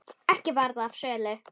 Ekki varð af sölu.